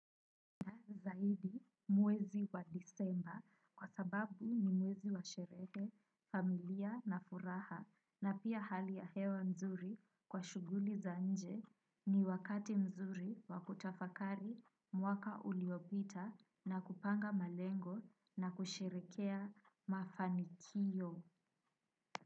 Na zaidi mwezi wa disemba kwa sababu ni mwezi wa sherehe, familia na furaha na pia hali ya hewa nzuri kwa shughuli za nje ni wakati mzuri wa kutafakari mwaka uliopita na kupanga malengo na kusherekea mafanikiyo.